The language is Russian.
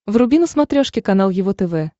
вруби на смотрешке канал его тв